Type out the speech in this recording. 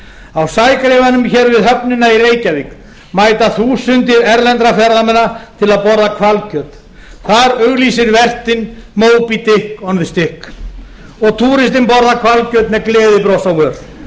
á sægreifanum hér við höfnina í reykjavík mæta þúsundir erlendra ferðamanna til að borða hvalkjöt þar auglýsir vertinn moby dick on the stick og túristi borðar hvalkjöt með gleðibros á